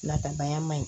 Natabaya ma ɲi